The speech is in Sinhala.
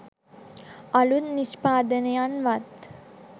අලුත් නිෂ්පාදනවත්